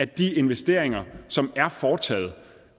de investeringer som er foretaget